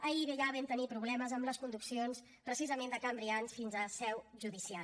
ahir ja vam tenir problemes amb les conduccions precisament de can brians fins a la seu judicial